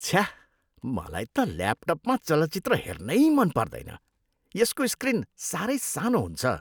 छ्या। मलाई त ल्यापटपमा चलचित्र हेर्नै मन पर्दैन। यसको सक्रिन साह्रै सानो हुन्छ।